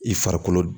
I farikolo